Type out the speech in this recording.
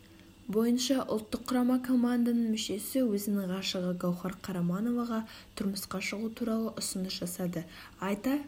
бойынша ұлттық құрама команданың мүшесі өзінің ғашығы гаухар карамановаға тұрмысқа шығу туралы ұсыныс жасады айта